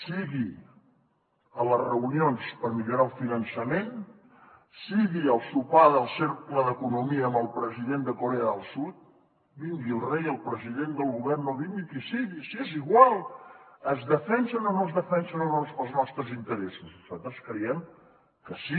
sigui a les reunions per millorar el finançament sigui al sopar del cercle d’economia amb el president de corea del sud vingui el rei el president del govern o vingui qui sigui si és igual es defensen o no es defensen els nostres interessos nosaltres creiem que sí